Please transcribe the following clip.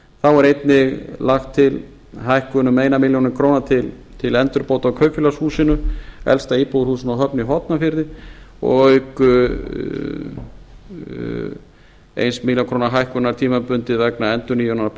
þá er einnig lagt til hækkun um eina milljón króna til endurbóta á kaupfélagshúsinu elsta íbúðarhúsinu á höfn í hornafirði auk einnar milljón króna hækkunar tímabundið vegna endurnýjunar